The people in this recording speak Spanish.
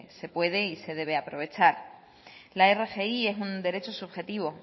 se puede y se debe aprovechar la rgi es un derecho subjetivo